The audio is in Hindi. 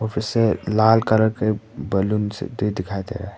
लाल कलर के बैलून दिखाई दे रहा--